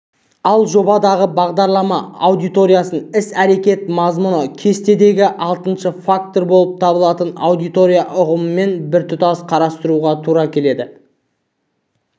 ал жобадағы бағдарлама аудиториясын іс-әрекет мазмұны кестесіндегі алтыншы фактор болып табылатын аудитория ұғымымен біртұтас қарастыруға тура келеді